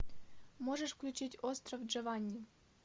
можешь включить остров джованни